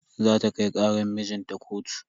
Zata kai karan mijinta kotu.